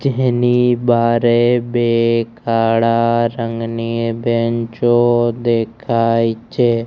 જેહની બારે બે કાળા રંગની બેન્ચ ઑ દેખાય છે.